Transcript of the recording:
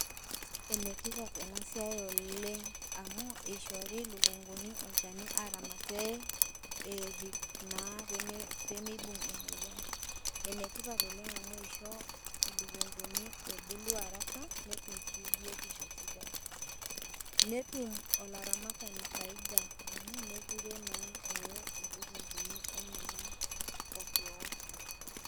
Enetipat enasiai oleng amu ishori ilukunguni olchani pee erip naa pemeibung emoyian. Enetipat oleng amu isho ilukunkuni ebulu araka netum sii biotisho sidai netum olaramatani faida amu mekure mekure naa ee ilukunkuni enyenak.